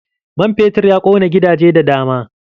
Man fetur ya ƙona gidaje da dama.